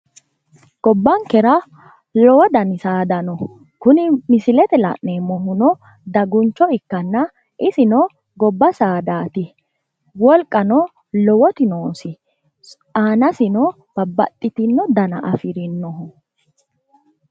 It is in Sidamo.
Gobbankera lowo dano saada no. Kuni misilete la'neemmohu daguncho ikkanna isino gobba saadaati. Wolqano lowoti noosi. Aanasino babbaxxitino dana afirinnoho.